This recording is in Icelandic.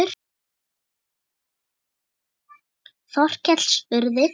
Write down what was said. Þorkell spurði